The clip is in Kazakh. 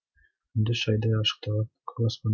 күндіз шайдай ашық тұрған көк аспан